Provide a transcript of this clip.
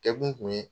Kɛ kun ye